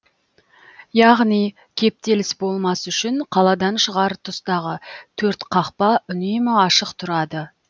яғни кептеліс болмас үшін қаладан шығар тұстағы төрт қақпа үнемі ашық тұрады